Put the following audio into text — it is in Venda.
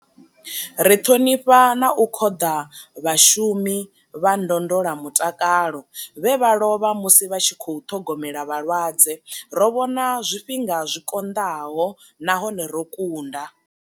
Ri ṱhonifha na u khoḓa vhashu mi vha ndondola mutakalo vhe vha lovha musi vha tshi khou ṱhogomela vhalwadze. Ro vhona zwifhinga zwi konḓaho nahone ro kunda.